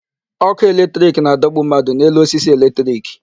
Ọkụ electric na-adọgbu mmadụ n'elu osisi electric.